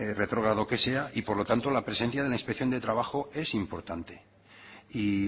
retrógrado que sea y por lo tanto la presencia de la inspección de trabajo es importante y